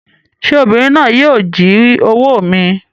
Sé obìnrin náà yíì o jí owó mi